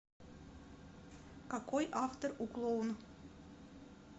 какой автор у клоун